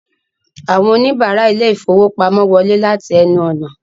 Àwọn oníbàárà ilé-ìfowópamọ́sí wọlé láti ẹnu ọ̀nà